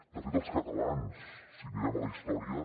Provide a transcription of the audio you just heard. de fet els catalans si mirem la història